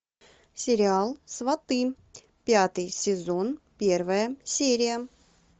сериал сваты пятый сезон первая серия